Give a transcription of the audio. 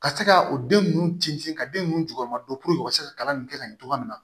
Ka se ka o den nunnu sinsin ka den nunnu juguman dɔn puruke u ka se ka kalan nin kɛ ka ɲɛ cogoya min na